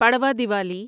Padwa Diwali